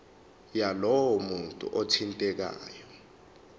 yalowo muntu othintekayo